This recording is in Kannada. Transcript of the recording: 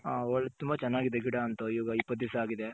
ಹ ತುಂಬ ಚೆನ್ನಾಗಿದೆ ಗಿಡ ಒಂತು ಈಗ ಇಪ್ಪತ್ ದಿಸ ಆಗಿದೆ.